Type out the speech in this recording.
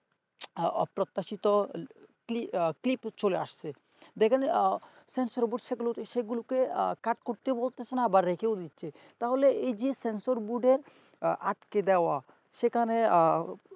অপ্রত্যাশিত clipclip চলে আসছে দেখেন sensor board সে গুলো সে গুলোকে কাট করতে বলতাছে না আবার রেখেও দিচ্ছে তাহলে এই যে sensor board র আটকে দাওয়া সেখানে